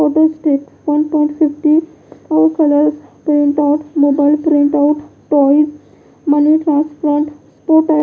photo step एक दासमौलाउ पांच जीरो और colour print out mobile print out type --